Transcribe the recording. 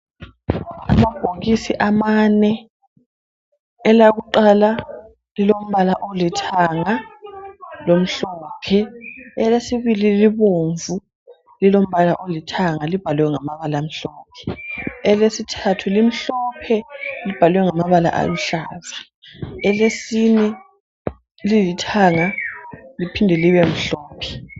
Amabhokisi amane. Elakuqala lilombala olithanga lomhlophe, elesibili libomvu lilombala olithanga libhalwe ngamabala amhlophe, elesithathu limhlophe libhalwe ngamabala aluhlaza elesine lilithanga liphinde libemhlophe.